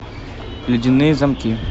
ледяные замки